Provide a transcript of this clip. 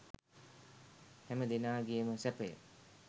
හැම දෙනාගේම සැපය